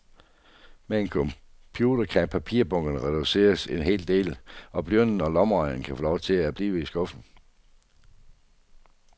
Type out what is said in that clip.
Med en computer kan papirbunkerne reduceres en hel del, og blyanten og lommeregneren kan få lov til at blive i skuffen.